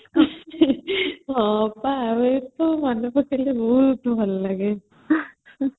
ହଁ ବା ଏ କଥା ମନେପକେଇଲେ ବହୁତ ଭଲ ଲାଗେ